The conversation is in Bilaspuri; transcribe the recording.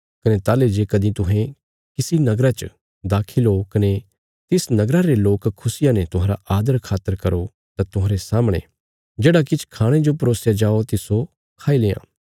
कने ताहली जे कदीं तुहें किसी नगरा च दाखल ओ कने तिस नगरा रे लोक खुशिया ने तुहांरा आदरखातर करो तां तुहांरे सामणे जेढ़ा किछ खाणे जो परोसया जाओ तिस्सो खाई लेआं